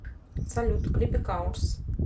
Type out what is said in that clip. салют клипы каурс